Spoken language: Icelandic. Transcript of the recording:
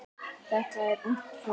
Þetta er ungt fólk.